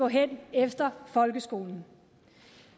hen efter folkeskolen